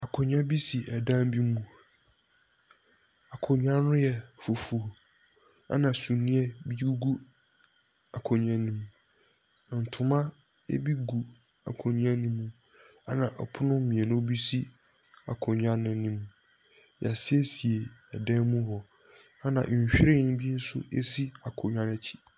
Akonnwa bi si dan bi mu. Akonnwa no fufuo, na sumiiɛ bi gu akonnwa no mu. Ntoma bi gu akonnwa no mu. Na pono mminu bi si akonnwa no mu. Yɛasiesie dan no mu hɔ. Na nhwiren bi nso si akonnwa no akyi.